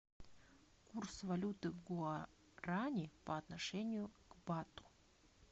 курс валюты гуарани по отношению к бату